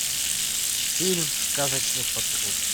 фильм сказочный патруль